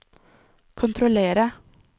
kontrollere